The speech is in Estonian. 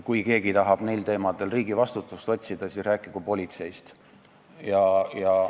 Kui keegi tahab neil teemadel riigi vastutust otsida, siis rääkigu politseist.